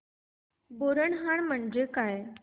बोरनहाण म्हणजे काय